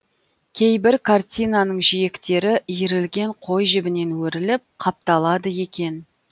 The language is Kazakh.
кейбір картинаның жиектері иірілген қой жібінен өріліп қапталады екен